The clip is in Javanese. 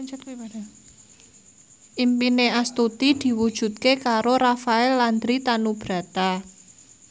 impine Astuti diwujudke karo Rafael Landry Tanubrata